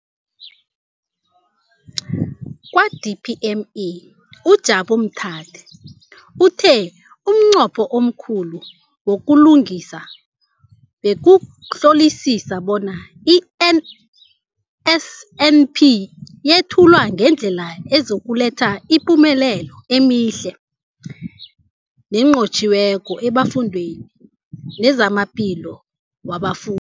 Kwa-DPME, uJabu Mathe, uthe umnqopho omkhulu wokuhlunga bekukuhlolisisa bona i-NSNP yethulwa ngendlela ezokuletha imiphumela emihle nenqotjhiweko efundweni nezamaphilo wabafu